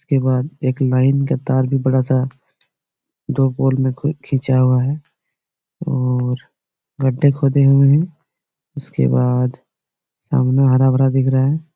उसके बाद एक लाइन का तार भी बड़ा-सा दो पोल में खीचा हुआ है और गड्डे खोदे हुए है और उसके बाद सामने हरा-भरा दिख रहा है।